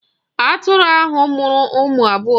Atụrụ ahụ mụrụ ụmụ abụọ.